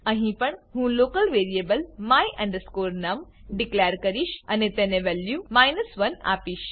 અહી પણ હું local variable my num declare કરીશ અને તેને વેલ્યુ 1 આપીશ